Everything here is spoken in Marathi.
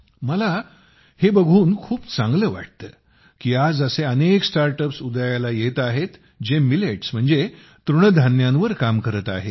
मला हे बघून खूप चांगले वाटते की आज असे अनेक स्टार्टअपस उदयाला येत आहेत जे तृणधान्यावर काम करत आहेत